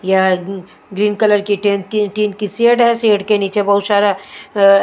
यहाँ green colour की tin की शेड है शेड के नीचे बहत सारा --